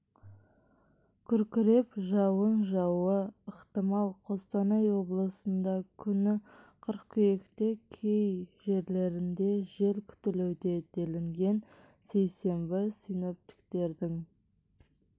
күркіреп жауын жаууы ықтимал қостанай облысында күні қыркүйекте кей жерлерінде жел күтілуде делінген сейсенбі синоптиктердің